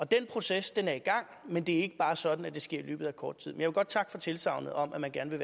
den proces er i gang men det er bare ikke sådan at det sker i løbet af kort tid men jeg vil godt takke for tilsagnet om at man gerne